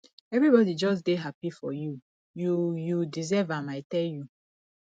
everybody just dey happy for you you you deserve am i tell you